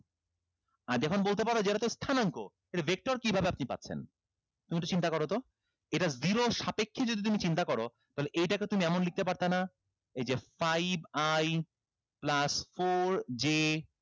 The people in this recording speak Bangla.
আর যখন বলতে পারো এটাতো স্থানাঙ্ক এটা vector কিভাবে আপনি পাচ্ছেন তুমি একটু চিন্তা করতো এটা zero সাপেক্ষেই যদি তুমি চিন্তা করো তাহলে এইটাকে তুমি এমন লিখতে পারতা না এই যে five i plus four j